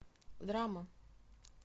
драмы